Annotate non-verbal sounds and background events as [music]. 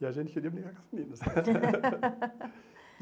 E a gente queria brincar com as meninas. [laughs]